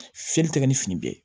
Fiyɛli tɛ kɛ ni fini bɛ ye